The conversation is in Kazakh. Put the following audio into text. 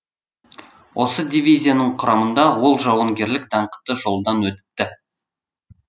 осы дивизияның құрамында ол жауынгерлік даңқты жолдан өтті